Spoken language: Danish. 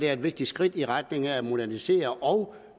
er et vigtigt skridt i retning af at modernisere og